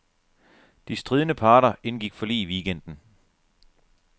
De stridende parter indgik forlig i weekenden.